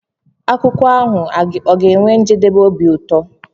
akụkọ ahụ ọ ga-enwe njedebe obi ụtọ?